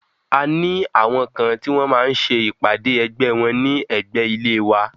A ní àwọn kan tí wọ́n máa ń ṣe ìpàdé ẹgbẹ́ wọ́n ní ẹ̀gbé ilé wa.